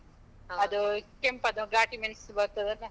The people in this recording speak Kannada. ಅದು, ಕೆಂಪದು ಗಾಟಿ ಮೆಣ್ಸ್‌ ಬರ್ತದಲ್ಲ.